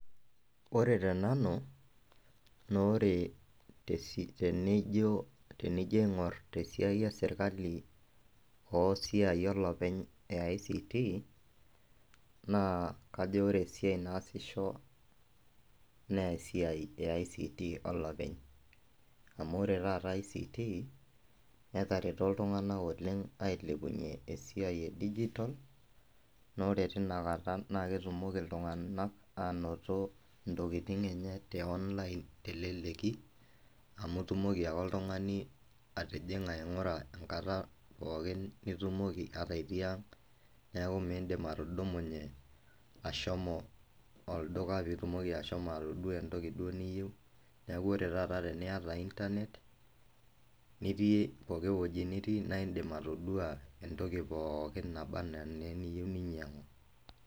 Ore te nanu, naa ore tenijo, tenijo aing'or te siai ee serikali oo siai olepeny ee ICT naa kajo ore esiai naa asisho naa esiai ee ICT olepeny. Amuu ore taata ICT netareto iltung'ana oleng' ailepunye esiai ee digital, naa ore tinakata naa ketumoki iltung'ana anoto ntokitin enye te online teleleki, amu itumoki ake oltung'ani atijing'a aing'ura kaatar pookin nitumoki ata itii ang' . Neeku midim atudumunye ashomo olduka pitomi ashomo atudua entoki niyeu. Neeku ore taata teniyata internet niiti pokin weji niti naa idim antoki pookin nabaa anaa niyeu ninyang'u.